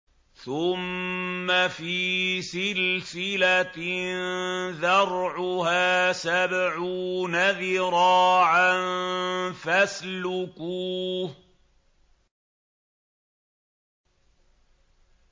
ثُمَّ فِي سِلْسِلَةٍ ذَرْعُهَا سَبْعُونَ ذِرَاعًا فَاسْلُكُوهُ